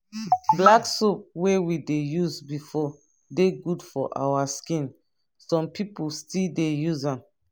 black soap wey we dey use befor dey good for our skin some pipu still dey use am